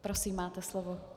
Prosím, máte slovo.